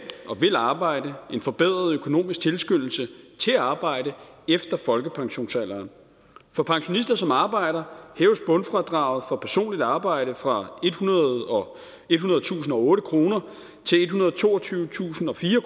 og vil arbejde en forbedret økonomisk tilskyndelse til at arbejde efter folkepensionsalderen for pensionister som arbejder hæves bundfradraget for personligt arbejde fra ethundredetusinde og otte kroner til ethundrede og toogtyvetusindfire